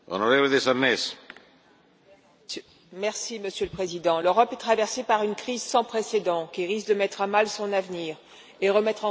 Monsieur le Président, l'Europe est traversée par une crise sans précédent, qui risque de mettre à mal son avenir et de remettre en cause sa construction, alors même qu'elle est vitale.